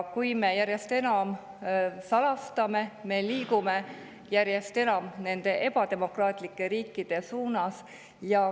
Kui me järjest enam salastame, siis me järjest enam liigume nende ebademokraatlike riikide suunas.